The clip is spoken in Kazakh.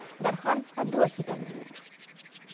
дархан абдуахит әңгімелейді